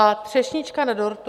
A třešnička na dortu?